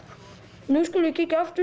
nú skulum við kíkja aftur